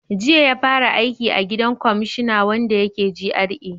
Jiya ya fara aiki a gidan kwamashina wanda yake GRA